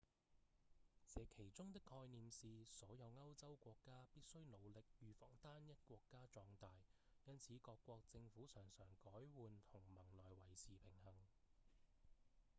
這其中的概念是所有歐洲國家必須努力預防單一國家壯大因此各國政府常常改換同盟來維持平衡